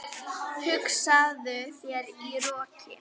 Hugsaðu þér- í roki!